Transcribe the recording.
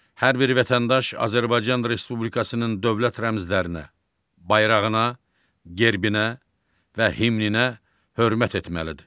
Hər bir vətəndaş Azərbaycan Respublikasının dövlət rəmzlərinə, bayrağına, gerbinə və himninə hörmət etməlidir.